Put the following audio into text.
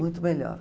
Muito melhor.